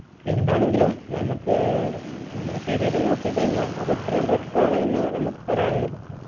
എന്താണെങ്കിലും നമ്മുക്ക് നമ്മളെ ശരീരം നോക്കി കഴിഞ്ഞ അത് അത്രയും better ആണ് എന്നാണ് നമുക്ക് പറയാനുള്ളത്